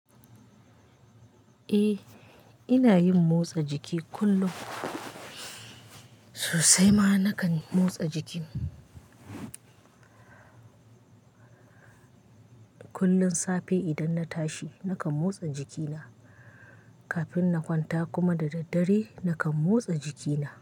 Eh, ina yin motsa jiki kullum. Sosai ma na kan motsa jikin. Kullum safe idan na tashi na kan motsa jikina, kafin na kwanta kuma da daddare na kan motsa jikina.